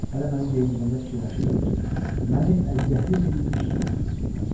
Hələ məni geyindirəndə fikirləşirdim ki, məni əziyyətli bir iş üçün hazırlayırlar.